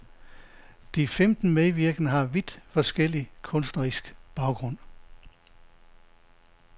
De femten medvirkende har vidt forskellig kunstnerisk baggrund.